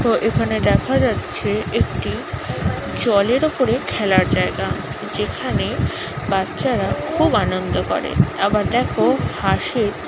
এখানে দেখা যাচ্ছে একটি জলের ওপরে খেলার জায়গা যেখানে বাচ্চারা খুব আনন্দ করে আবার দেখো হাসির--